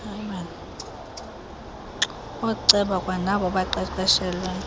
ooceba kwanabo baqeqeshelwe